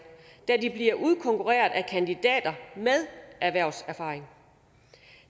da de bliver udkonkurreret af kandidater med erhvervserfaring